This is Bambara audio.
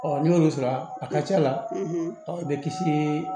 Ɔ n'i y'olu sɔrɔ a ka ca la i bɛ kisi